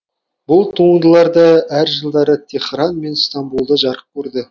бұл туындылар да әр жылдары теһран мен стамбулда жарық көрді